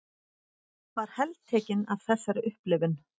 Var heltekin af þessari upplifun.